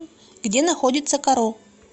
где находится каро